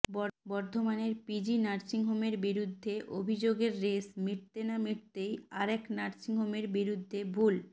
বর্ধমানের পিজি নার্সিংহোমের বিরুদ্ধে অভিযোগের রেশ মিটতে না মিটতেই আর এক নার্সিংহোমের বিরুদ্ধে ভুল